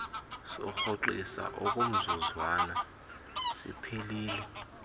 sokurhoxisa okomzuzwana siphelile